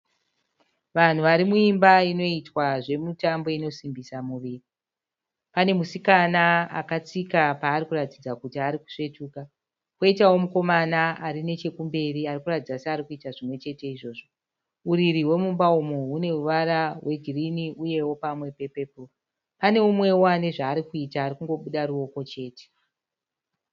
Vanhu vari muimba inoitwa zvemitambo inosimbisa miviri. Pane musikana akatsika paari kuratidza kuti ari kusvetuka, poitawo mukomana ari nechekumberi ari kuratidza seari kuita zvimwe chete izvozvo. Uriri hwemumba umu hune ruvara rwegirini uyewo pamwe pe"purple". Pane mumwewo ane zvaari kuita ari kungobuda ruoko chete.